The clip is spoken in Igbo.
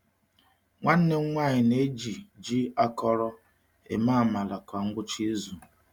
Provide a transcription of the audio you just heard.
Nwanne m nwanyị na-eji ji akọrọ eme amala kwa ngwụcha izu.